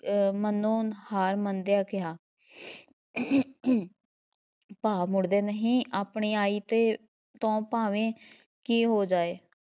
ਅਹ ਮਨੋਂ ਹਾਰ ਮੰਨਦਿਆਂ ਕਿਹਾ ਭਾ ਮੁੜਦੇ ਨਹੀਂ ਆਪਣੀ ਆਈ ਤੇ ਤੋਂ ਭਾਵੇਂ ਕੀ ਹੋ ਜਾਏ।